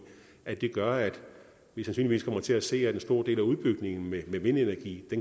at det gør at vi sandsynligvis kommer til at se at en stor del af udbygningen med vindenergi